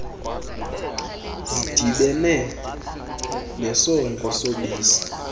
zidibene nesondlo sobisi